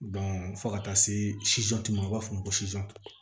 fo ka taa se ma u b'a f'o ma ko